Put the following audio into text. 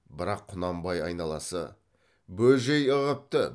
бірақ құнанбай айналасы бөжей ығыпты